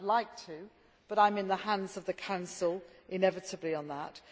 I would like to, but I am in the hands of the Council inevitably on that.